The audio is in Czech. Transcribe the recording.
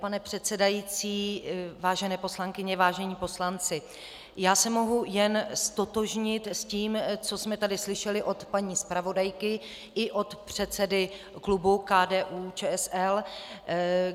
Pane předsedající, vážené poslankyně, vážení poslanci, já se mohu jen ztotožnit s tím, co jsme tady slyšeli od paní zpravodajky i od předsedy klubu KDU-ČSL.